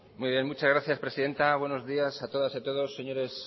muchas gracias presidenta buenos días a todas y a todos señores